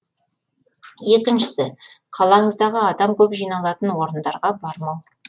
екіншісі қалаңыздағы адам көп жиналатын орындарға бармау